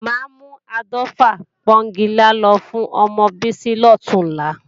Máa mú áàdọ́fà pọ́ńgilá lọ fún ọmọ Bísí lọ̀túnla